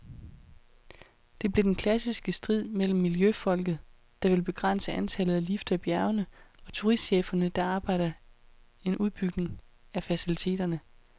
Det blev den klassiske strid mellem miljøfolket, der vil begrænse antallet af lifter i bjergene, og turistcheferne, der arbejder en udbygning af faciliteterne.